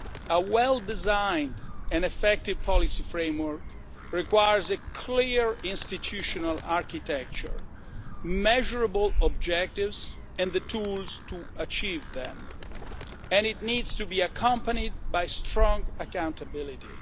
A well designed and effective policy framework requires clear institutional architecture, measurable objectives and the tools to achieve them and it needs to be accompanied by strong accountability.